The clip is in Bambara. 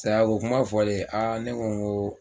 Sayako kuma fɔlen ne ko n ko aa